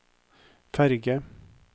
ferge